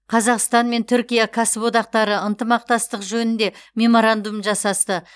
қазақстан мен түркия кәсіподақтары ынтымақтастық жөнінде меморандум жасасты